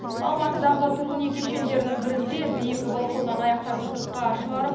алматыдағы тұрғын үй кешендерінің бірінде биік балконнан аяқтарын сыртқа шығарып